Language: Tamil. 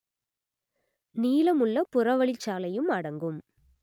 நீளமுள்ள புறவழிச்சாலையும் அடங்கும்